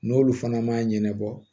N'olu fana ma ɲɛnɛbɔ